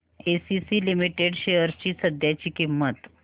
ACC limited shares ची सध्याची किंमत